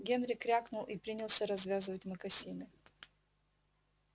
генри крякнул и принялся развязывать мокасины